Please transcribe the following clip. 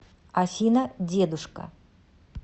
афина дедушка